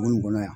Bon nin kɔnɔ yan